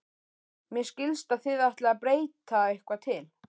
Mér skilst að þið ætlið að breyta eitthvað til?